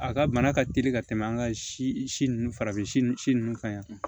A ka bana ka teli ka tɛmɛ an ka si ninnu farafin si ninnu ka ɲi